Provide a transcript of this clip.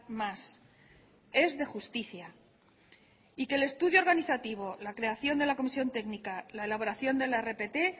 más es de justicia y que el estudio organizativo la creación de la comisión técnica la elaboración de la rpt